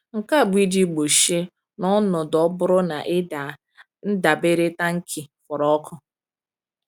Nke a bụ iji gbochie, n’ọnọdụ ọ bụrụ na ị daa, ndabere tankị forọkụ.